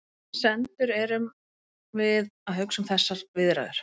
Sem sendur erum við að hugsa um þessar viðræður.